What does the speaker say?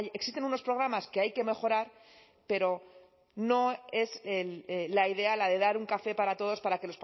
existen unos programas que hay que mejorar pero no es la idea la de dar un café para todos para que